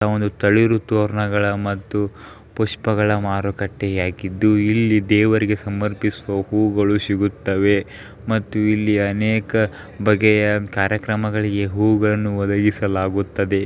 ಒಂದು ತಳಿಯು ತೋರಣಗಳು ಮತ್ತೆ ಪುಷ್ಪಗಳ ಮಾರುಕಟ್ಟೆ ಆಗಿದ್ದು ಇಲ್ಲಿ ದೇವರಿಗೆ ಸಮರ್ಪಿಸುವ ಹೂಗಳು ಸಿಗುತ್ತವೆ. ಮತ್ತೆ ಇಲ್ಲಿ ಅನೇಕ ಬಗೆಯ ಕಾರ್ಯಕ್ರಮಗಳಿಗೆ ಹೂಗಳುನ್ನು ವೊದಗಿಸಲಾಗುತ್ತದ.